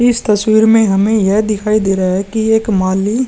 इस तस्वीर में हमे यह दिखाई दे रहा है कि एक माली --